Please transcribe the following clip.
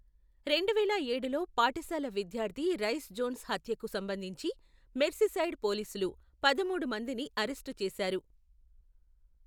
రెండువేల ఏడులో పాఠశాల విద్యార్థి రైస్ జోన్స్ హత్యకు సంబంధించి మెర్సీసైడ్ పోలీసులు పదమూడు మందిని అరెస్టు చేశారు.